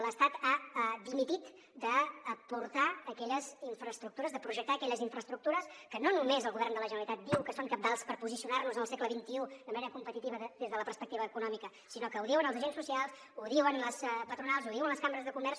l’estat ha dimitit d’aportar aquelles infraestructures de projectar aquelles infraestructures que no només el govern de la generalitat diu que són cabdals per posicionar nos en el segle xxi de manera competitiva des de la perspectiva econòmica sinó que ho diuen els agents socials ho diuen les patronals ho diuen les cambres de comerç